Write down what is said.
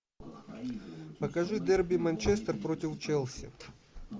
покажи дерби манчестер против челси